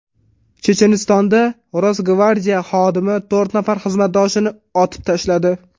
Chechenistonda Rosgvardiya xodimi to‘rt nafar xizmatdoshini otib tashladi.